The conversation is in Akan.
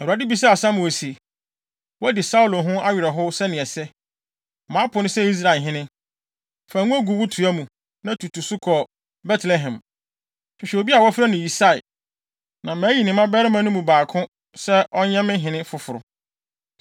Awurade bisaa Samuel se, “Woadi Saulo ho awerɛhow sɛnea ɛsɛ. Mapo no sɛ Israel hene. Fa ngo gu wo toa mu, na tutu so kɔ Betlehem. Hwehwɛ obi a wɔfrɛ no Yisai na mayi ne mmabarima no mu baako sɛ ɔnyɛ me hene foforo.”